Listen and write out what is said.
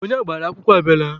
Onye agbara akwụkwọ abịala.